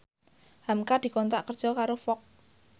hamka dikontrak kerja karo Fox